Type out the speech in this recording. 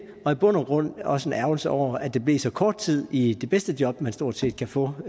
og i bund og grund også en ærgrelse over at det blev så kort tid i det bedste job man stort set kan få